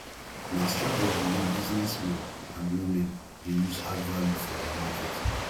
na strategy wey business men and women de use add value for their market